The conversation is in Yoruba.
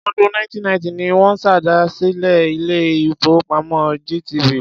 Ọdún 1990 ni wọ́n ṣèdásílẹl ilé-ìfowópamọ́ GTB.